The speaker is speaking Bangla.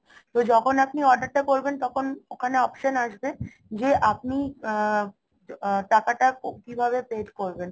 তো যখন আপনি order টা করবেন তখন মানে option আসবে যে আপনি আ~ টাকাটা কিভাবে pay করবেন